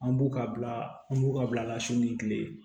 An b'u ka bila an b'u ka bila la sini kile